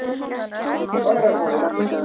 Fagrahvoli